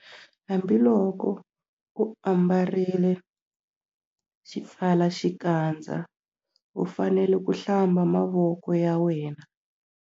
Hambiloko u ambarile xipfalaxikandza u fanele ku- Hlamba mavoko ya wena.